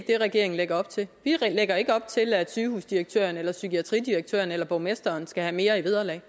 det regeringen lægger op til vi lægger ikke op til at sygehusdirektøren eller psykiatridirektøren eller borgmesteren skal have mere i vederlag